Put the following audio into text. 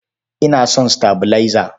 Ina son sitabilaiza.